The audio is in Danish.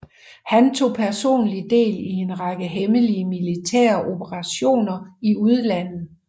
Han tog personlig del i en række hemmelige militære operationer i udlandet